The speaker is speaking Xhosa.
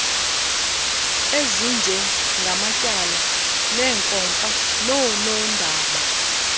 ezinjengamatyala neenkomfa noonondaba